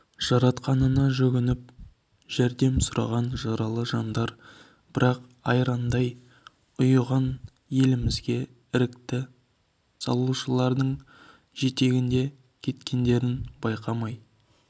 жаратқанына жүгініп жәрдем сұраған жаралы жандар бірақ айрандай ұйыған елімізге іріткі салушылардың жетегінде кеткендерін байқамай